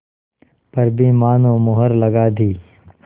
पर भी मानो मुहर लगा दी